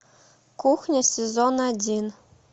кухня сезон один